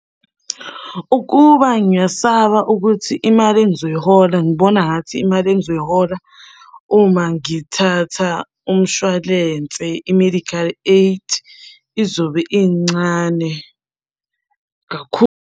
Ukuba ngiyasaba ukuthi imali engizoyihola, ngibona ngathi imali engizoyihola uma ngithatha umshwalense i-medical aid izobe incane kakhulu.